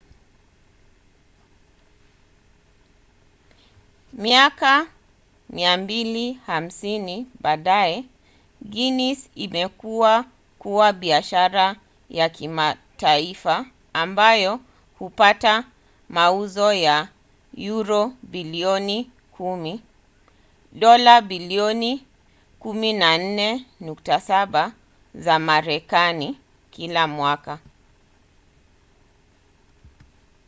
miaka 250 baadaye guinness imekua kuwa biashara ya kimataifa ambayo hupata mauzo ya yuro bilioni 10 dola bilioni 14.7 za marekani kila mwaka